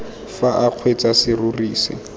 fa o kgweetsa serori se